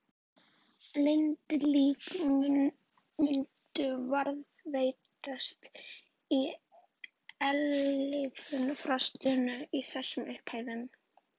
Blind lík myndu varðveitast í eilífu frostinu í þessum upphæðum.